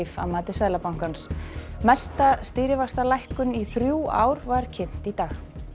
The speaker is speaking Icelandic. að mati Seðlabankans mesta stýrivaxtalækkun í þrjú ár var kynnt í dag